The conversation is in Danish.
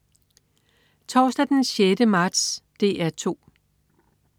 Torsdag den 6. marts - DR 2: